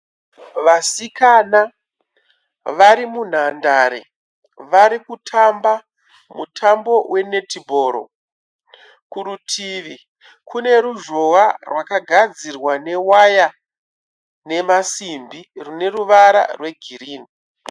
Vasikana vari munhandare varikutamba mutambo wenetibhoro. Kurutivi kune ruzhowa rwakagadzirwa newaya nemasimbi rwune ruvara rwegirini.